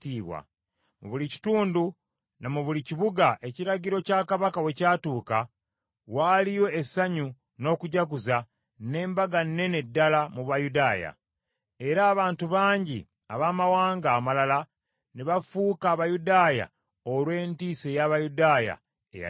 Mu buli kitundu, ne mu buli kibuga, ekiragiro kya Kabaka we kyatuuka, waaliyo essanyu n’okujaguza n’embaga nnene ddala mu Bayudaaya. Era abantu bangi abamawanga amalala ne bafuuka Abayudaaya olw’entiisa ey’Abayudaaya eyali ebakutte.